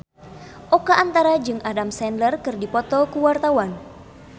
Oka Antara jeung Adam Sandler keur dipoto ku wartawan